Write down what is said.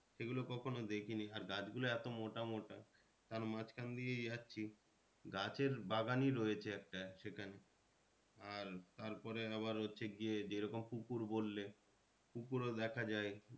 সেগুলো কখনো দেখিনি আর গাছ গুলো এতো মোটামোটা তার মাঝখান দিয়ে যাচ্ছি গাছের বাগানই রয়েছে একটা সেখানে আর তারপরে আবার হচ্ছে গিয়ে যেরকম পুকুর বললে পুকুর ও দেখা যায়